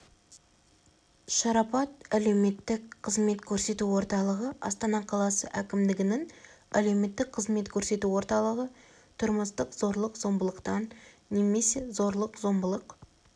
шарапат әлеуметтік қызмет көрсету орталығы астана қаласы әкімдігінің әлеуметтік қызмет көрсету орталығы тұрмыстық зорлық-зомбылықтан немесе зорлық-зомбылық